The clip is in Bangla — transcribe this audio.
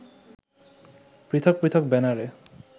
পৃথক পৃথক ব্যানারে